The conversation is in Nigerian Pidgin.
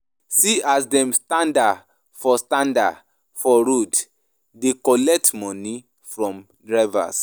See as dem standa for standa for road dey collect moni from drivers.